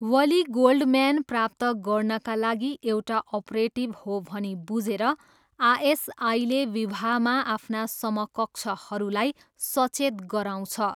वली Goldman प्राप्त गर्नाका लागि एउटा अपरेटिभ हो भनी बुझेर, आएसआईले विवाहमा आफ्ना समकक्षहरूलाई सचेत गराउँछ।